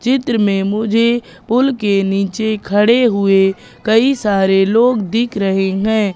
चित्र में मुझे पुल के नीचे खड़े हुए कई सारे लोग दिख रहे हैं।